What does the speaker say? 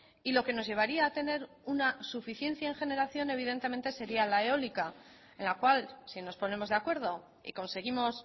y lo que nos llevaría a tener una suficiencia en generación evidentemente sería la eólica en la cual si nos ponemos de acuerdo y conseguimos